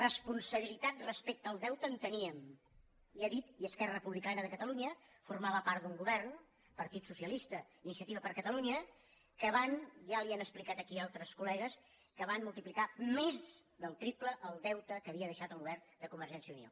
responsabilitat respecte al deute en teníem ha dit i esquerra republicana de catalunya formava part d’un govern partit socialista iniciativa per catalunya que van i ja li ho han explicat aquí altres collegues multiplicar més del triple el deute que havia deixat el govern de convergència i unió